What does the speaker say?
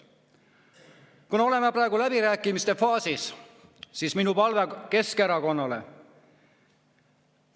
Kuna oleme praegu läbirääkimiste faasis, siis on mul Keskerakonnale palve.